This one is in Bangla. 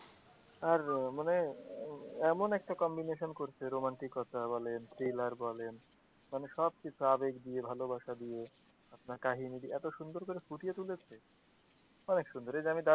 আর মানে এমন একটা combination করছে romatic বলেন thriller বলেন মানে সব কিছু আবেগ দিয়ে ভালোবাসা দিয়ে আপনার কাহিনি দিয়ে এতো সুন্দর করে ফুটিয়ে তুলেছে অনেক সুন্দর এইযে আমি,